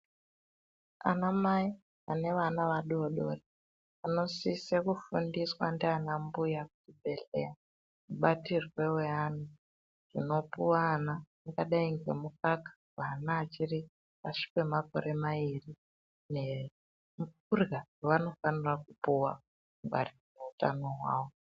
Amai ane ana adodori anosisa kufindiswa ndiana mbuya kuzvibhehleya zvingadai ngekupuwa mukaka paana achiri pashi pemakore mairi nekurya vanofanira kupuwa kungwarira utano hwavo.